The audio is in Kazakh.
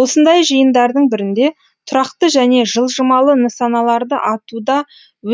осындай жиындардың бірінде тұрақты және жылжымалы нысаналарды атуда